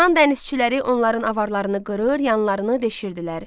Yunan dənizçiləri onların avarlarını qırır, yanlarını deşirdilər.